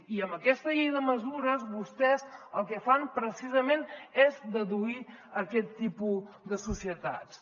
i amb aquesta llei de mesures vostès el que fan precisament és deduir aquest tipus de societats